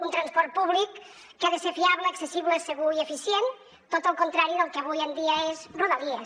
un transport públic que ha de ser fiable accessible segur i eficient tot el contrari del que avui en dia és rodalies